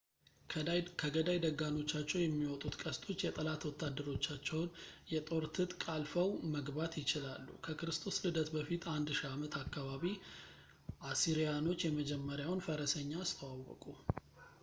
ከገዳይ ደጋኖቻቸው የሚወጡት ቀስቶች የጠላት ወታደሮቻቸውን የጦር ትጥቅ አልፈው መግባት ይችላሉ ከክርስቶስ ልደት በፊት 1000 ዓመት አካባቢ አሲሪያኖች የመጀመሪያውን ፈረሰኛ አስተዋወቁ